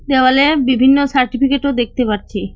দেওয়ালে বিভিন্ন সার্টিফিকেটও দেখতে পাচ্ছি।